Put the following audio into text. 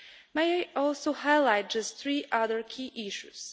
May I also highlight just three other key issues.